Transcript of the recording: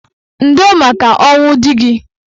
Ndo maka ọnwụ dị gị.